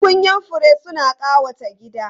Tukunyan fure suna ƙawata gida.